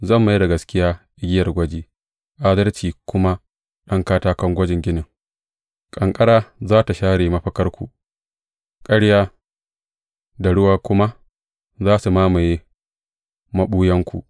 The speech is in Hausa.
Zan mai da gaskiya igiyar gwaji adalci kuma ɗan katakon gwajin ginin; ƙanƙara za tă share mafakarku, ƙarya, da ruwa kuma za su mamaye maɓuyanku.